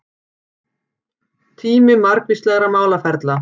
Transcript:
Tími margvíslegra málaferla